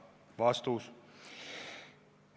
" Vastus.